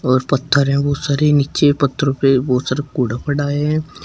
और पत्थर है बहुत सारे नीचे पत्थरों पे बहोत सारा कूड़ा पड़ा है।